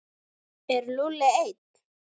Er Lúlli einn?